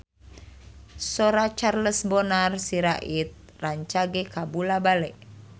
Sora Charles Bonar Sirait rancage kabula-bale